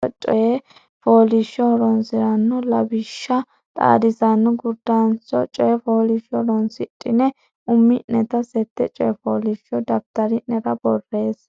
Afuu Jirte Xaadisaano Gurdancho Coy fooliishsho Horonsi ra noo lawishshi xaadisaano gurdancho coy fooliishsho horonsidhine umi neta seette coy fooliishsho daftari nera borreesse.